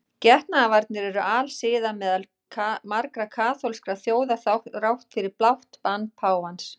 Getnaðarvarnir eru alsiða meðal margra kaþólskra þjóða þrátt fyrir blátt bann páfans.